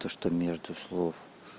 что между слов